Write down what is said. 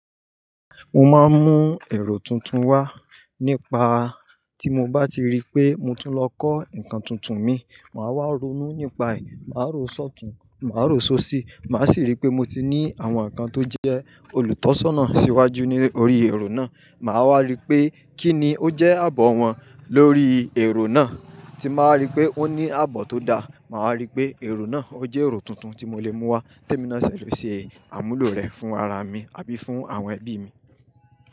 Mo máa ń mú èrò tuntun wá nípa tí mo bá ti rí pé mo tún lọ kọ́ nǹkan tuntun mi, màá wá ronú nípa è, màá rò sọ́tùn, màá rò ṣóṣì, màá sì rí pé mo ti ní àwọn nǹkan tó jẹ́ olùtọ́sọ́nà síwájú ní orí èrò náà. Màá wá rí pé kí ni ó jẹ́ àbọ̀ wọ́n lórí èrò náà tí màá rí pé ó ní àbọ̀ tó da, màá wa rí pé èrò náà ó jẹ́ èrò tuntun tí mo lè mú wá té mi ná sẹ̀ ló ṣe àmúlò rẹ̀ fún ara mi àbí fún àwọn ẹbí mi.